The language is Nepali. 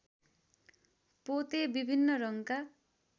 पोते विभिन्न रङका